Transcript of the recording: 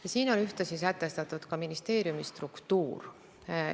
Ja selles on ühtlasi sätestatud ka ministeeriumi struktuur.